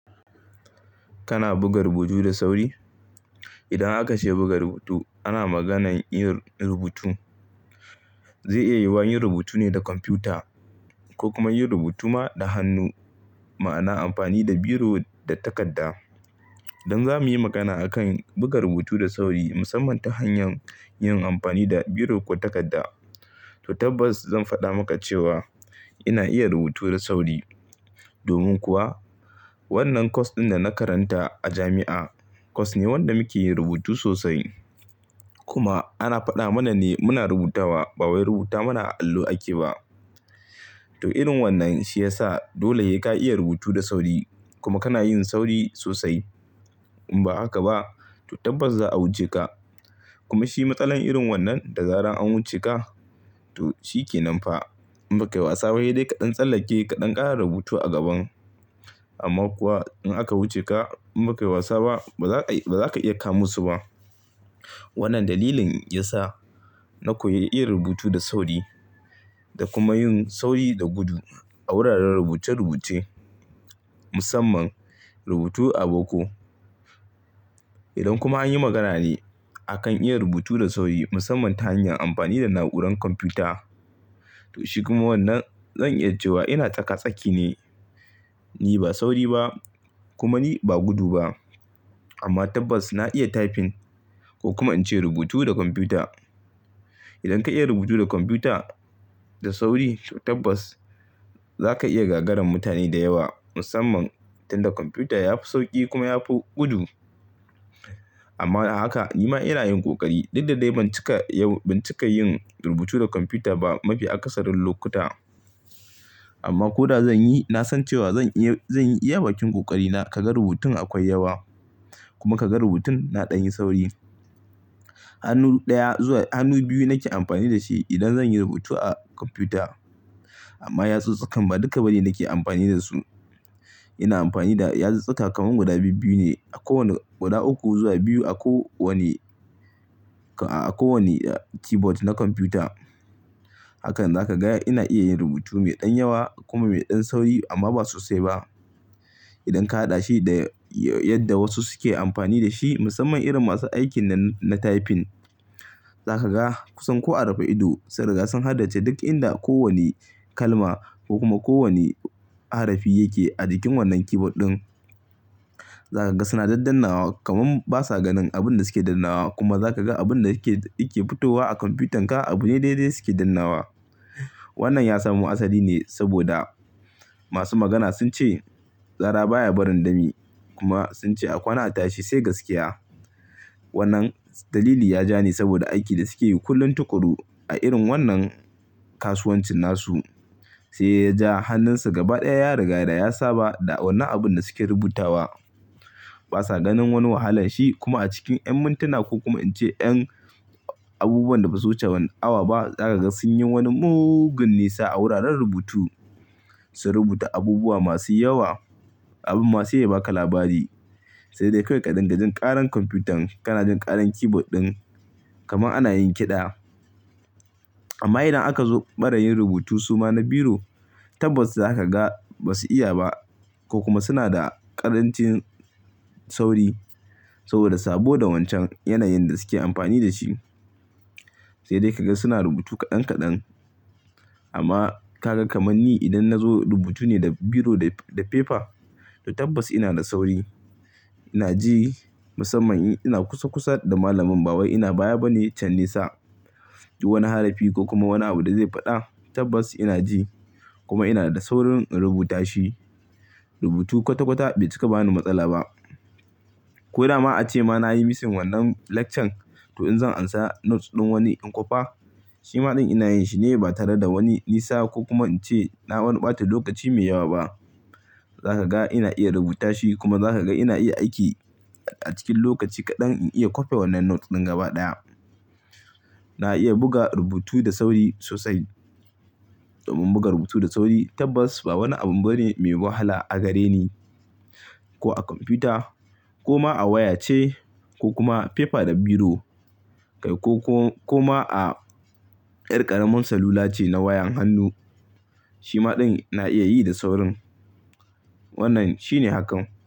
Kana buga rubutu da sauri? Idan aka ce buga rubutu ana maganan yin rubutu. Zai iya yiwuwa yin rubutu ne da kwamfuta ko kuma yin rubutu ma da hannu ma'ana amfani da biro da takarda. Don zamu yi magana a kan buga rubutu da sauri musamman ta hanyar yin amfani da biro ko takarda. To tabbas zan faɗa maka cewa ina iya rubutu da sauri. Domin kuwa wannan course ɗin da na karanta a jami'a course ne wanda muke yin rubutu sosai kuma ana faɗa mana ne muna rubutawa ba wai rubuta mana a allo ake ba. To irin wannan shi ya sa dole sai ka iya rubutu da sauri kuma kana yin sauri sosai. In ba haka ba to tabbas za a wuce ka. Kuma shi matsalar irin wannan da zaran an wuce ka to shi ke nan fa. In ba ka yi wasa ba sai dai ka ɗan tsallake kaɗan ƙara rubutu a gaban. Amma kuwa in aka wuce ka in ba ka yi wasa ba ba za ka iya kamo su ba. Wannan dalilin yasa na koyi iya rubutu da sauri da kuma yin sauri da gudu a wuraren rubuce rubuce. Musamman rubutu a boko. Idan kuma an yi magana ne a kan iya rubutu da sauri musamman ta hanyar amfani da na'urar kwamfuta. To shi kuma wannan zan iya cewa ina taka-tsaki ne. Ni ba sauri ba, kuma ni ba gudu ba. Amma tabbas na iya typing ko kuma in ce rubutu da kwamfuta. Idan ka iya rubutu da kwamfuta da sauri to tabbas za ka iya gagarar mutane da yawa musamman tunda kwamfuta yafi sauki kuma yafi gudu. Amma haka ni ma ina yin ƙoƙari. Dadadai ban cika yin rubutu da kwamfuta ba mafi akasarin lokuta. Amma ko da zan yi na san cewa zan iya zan yi iya bakin ƙoƙari na. Kaga rubutun akwai yawa kuma kaga rubutun na ɗan yin sauri. Hannu ɗaya zuwa hannu biyu nake amfani da shi idan zan yi rubutu a kwamfuta. Amma yatsun tsakan ba duka ba ne nake amfani da su. Ina amfani da yatsuttsuka kamar guda biyu ne a kowane guda uku zuwa biyu a kowane a kowane keyboard na kwamfuta. Hakan zaka ga yana iya yin rubutu mai ɗan yawa kuma mai ɗan sauri amma ba sosai ba. Idan ka haɗa shi da yadda wasu suke amfani da shi musamman irin masu aikin na typing. Zaka ga kusan ko a raba ido sai daga sun haddace duk inda kowani kalma ko kuma kowani harafi yake a jikin wannan keyboard ɗin. Zaka ga suna dadunnawa kamar basa ganin abin da suke dannawa kuma zaka ga abun da yake fitowa a kwamfutarka abu ne daidai suke dannawa. Wannan ya samu asali ne saboda masu magana sun ce, "zara baya barin dami" kuma sun ce, "a kwana tashi sai gaskiya". Wannan dalili ya ja ni saboda aikin da suke yi kullum tuƙuru a irin wannan kasuwancin nasu. Sai ya ja hannunsu gaba ɗaya ya riga da ya saba da wannan abun da suke rubutawa. Basa ganin wani wahala shi kuma a cikin ƴan mintuna ko kuma in ce ƴan abubuwan da basu wuce one awa ba zaka ga sun yi wani mugun nisa a wuraren rubutu. Sun rubuta abubuwa masu yawa. Abun ma sai ya baka labari. Sai dai kawai kai ka dinga jin ƙaran kwamfutan kana jin ƙaran keyboard ɗin kamar ana yin kiɗa. Amma idan aka zo ɓarayin rubutu suma na biro tabbas za ka ga basu iya ba ko kuma suna da ƙarancin sauri. Saboda sabo da wancan yanayin da suke amfani da shi. Sai dai kaga suna rubutu kaɗan-kaɗan. Amma ka ga kamar ni idan na zo rubutu ne da biro da paper to tabbas ina da sauri. Ina ji musamman ina kusa kusa da malamin. Ba wai ina baya bane can nisa. Wani harafi ko kuma wani abu da zai faɗa tabbas ina ji kuma ina da saurin in rubuta shi. Rubutu kwata-kwata bai cika bani matsala ba. Ko da ma a ce ma na yi missing wannan lecture to in zan amsa notes ɗin wani in kwafa shi ma ɗin ina yin shi ne ba tare da wani nisa ko kuma in ce na wani ɓata lokaci mai yawa ba. Zaka ga ina iya rubuta shi kuma za ka ga ina iya aiki a cikin lokaci kaɗan in iya kwafe wannan note ɗin gaba ɗaya. Na iya buga rubutu da sauri sosai. Domin buga rubutu da sauri tabbas ba wani abu bane mai wahala a gare ni. Ko a kwamfuta ko ma a waya ce ko kuma paper da biro. Kai ko ko ko ma a 'yar ƙaramar salula ce na wayan hannu. Shi ma ɗin na iya yi da saurin. Wannan shi ne hakan.